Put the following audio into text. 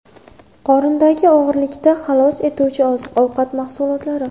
Qorindagi og‘irlikdan xalos etuvchi oziq-ovqat mahsulotlari.